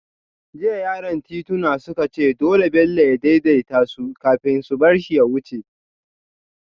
Jiya yaran tituna suka ce dole Bello ya daidaita su kafin su bar shi ya wuce